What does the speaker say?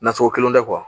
Naso kelen tɛ